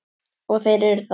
Og þeir eru það.